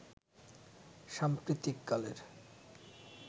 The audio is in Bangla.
সাম্প্রতিক কালের